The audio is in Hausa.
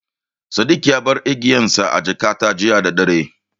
Sadik ya bar igiyarsa a jakata jiya daddare.